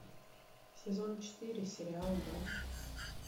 сезон четыре сериал мост